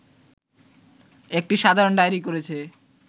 একটি সাধারণ ডায়েরি করেছে